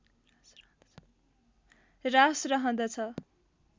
ह्रास रहँदछ